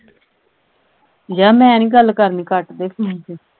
ਜਾਹ ਮੈਂ ਨਹੀਂ ਗੱਲ ਕਰਨੀ ਕੱਟ ਦੇ ਫੋਨ ਫਿਰ।